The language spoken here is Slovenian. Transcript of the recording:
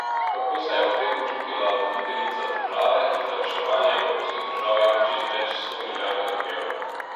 Kako se je ob tem počutila voditeljica države, ki za reševanje evrskih držav jamči z več sto milijardami evrov?